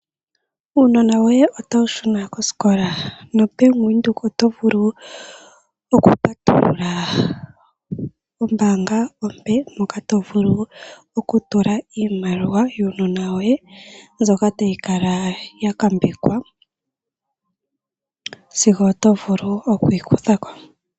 Uunona woye otawu shuna kosikola? NoBank Windhoek oto vulu oku patulula ombaanga ompe, moka to vulu okutula iimaliwa yuunona woye, mbyoka ta yi kala ya ngambekwa sigo oto vulu oku yi kutha ko.